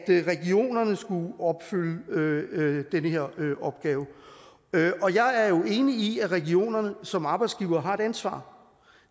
regionerne skulle løse den her opgave og jeg er jo enig i at regionerne som arbejdsgivere har et ansvar